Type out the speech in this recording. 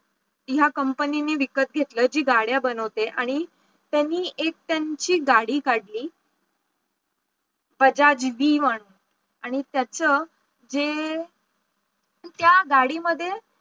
ह्या company नि विकत घेतलं जी गाड्या बनवते आणि त्यांनी त्याची एक गाडी काढली बजाज त्याच जे, त्या गाडी मध्ये